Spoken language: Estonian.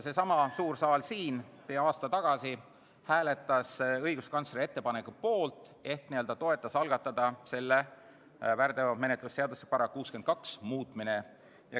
Seesama suur saal siin peaaegu aasta tagasi hääletas õiguskantsleri ettepaneku poolt ehk toetas väärteomenetluse seadustiku § 62 muutmise algatamist.